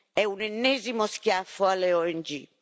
È un ennesimo schiaffo alle ONG.